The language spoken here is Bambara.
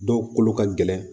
Dɔw kolo ka gɛlɛn